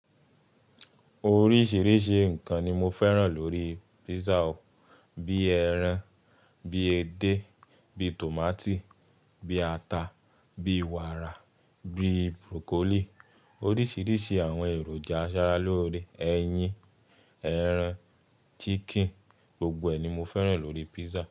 Oríṣìíríṣìí nǹkan ni mo fẹ́ràn lórí pizza. Bí ẹran, bí edé, bí tòmátì, bí ata, bí wàrà, bí broccoli. Oríṣìíríṣìí àwọn èròjà aṣara lóre, ẹyin, ẹran, chicken, gbogbo ẹ̀ ni mo fẹ́ràn lórí pizza.